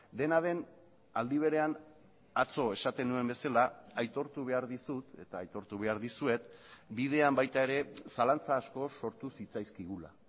dena den aldi berean atzo esaten nuen bezala aitortu behar dizut eta aitortu behar dizuet bidean baita ere zalantza asko sortu zitzaizkigula